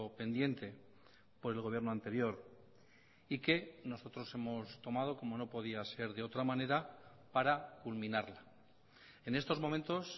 pendiente por el gobierno anterior y que nosotros hemos tomado como no podía ser de otra manera para culminarla en estos momentos